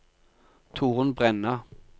Torunn Brenna